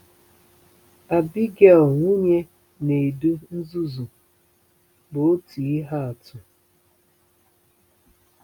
Abigail, nwunye Nedu nzuzu, bụ otu ihe atụ.